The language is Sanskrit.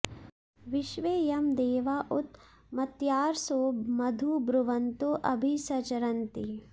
विश्वे यं देवा उत मर्त्यासो मधु ब्रुवन्तो अभि संचरन्ति